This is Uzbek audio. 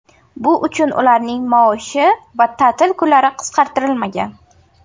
Bu uchun ularning maoshi va ta’til kunlari qisqartirilmagan.